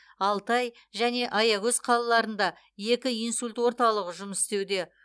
алтай және аягөз қалаларында екі инсульт орталығы жұмыс істеуде